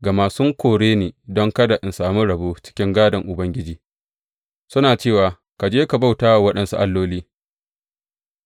Gama sun kore ni don kada in sami rabo cikin gādon Ubangiji, suna cewa, Ka je ka bauta wa waɗansu alloli.’